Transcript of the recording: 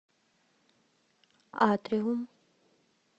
атриум